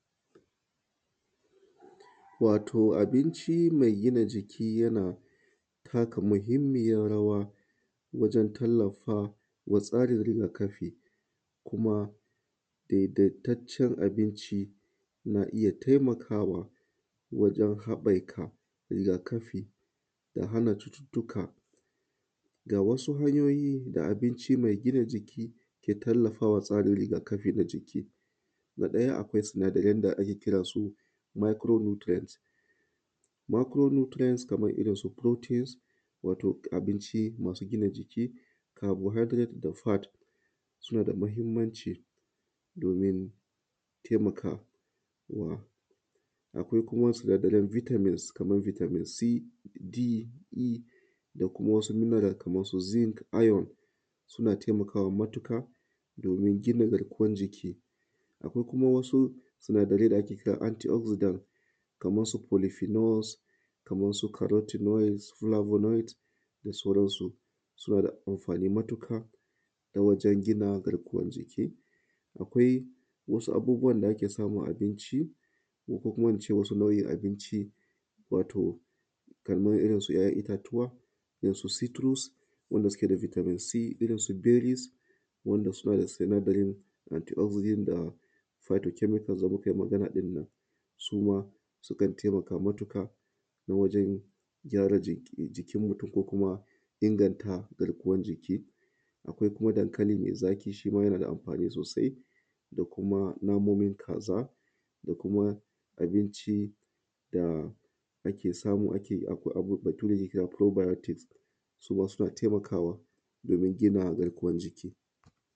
Wato abinci mai gina jiki yana takamahinmiyan rawa wajen tallafa wa tsarin rigakafi kuma daidaitaccen abinci na iya taimakawa wajen haɓaka rigakafi da hana cututtuka da wasu hanyoyi da abinci mai gina jiki ke tallafawa tsarin rigakafi na jiki, na ɗaya akwai sinadaren da ake cewa micro nutrient kaman irin su protein, wato abinci masu gina jiki, carbohydred da fart suna da mahinmanci domin taimakawa. Akwai kuma sinadaren vitamins kaman vitamin c, d, e, da kuma wasu minerals ko su zink, iron suna taimakawa matuƙa domin gina garkuwan jiki, akwai kuma wasu sinadarai da ake kira anti ogzidons kaman su karoti, boya da sauransu suna da amfani matuƙa na wajen gina garkuwan jiki. Akwai wasu abubuwan da ake samu a abinci ko kuma in ce wasu nau’in abinci wato akan irinsu ‘ya’yan itatuwa, irinsu citrus wanda suke da vitamin c, su bayleve wanda suke da vitamin d, suma sukan taimaka matuƙa wajen gyara jikin mutun da kuma inganta garkuwan jiki. Akwai kuma dankali mai zaƙi shi ma yanada amfani sosai da kuma namomin kaza da kuma binci da ake samu, Bature yana kira probiotics suma suna taimakawa domin gina garkuwan jiki.